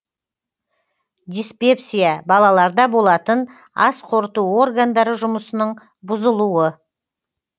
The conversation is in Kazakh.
диспепсия балаларда болатын ас қорыту органдары жұмысының бұзылуы